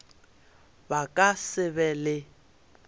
ba ka se be le